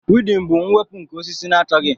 weedin bụ mwepụ nke osisi na-achọghị